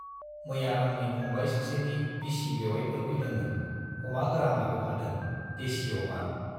मैया आंनि फंबाय सासेनि बिसि बेउवाइफोर फैदोंमोन - अमा गोरान लाबोफादों, देसि अमा।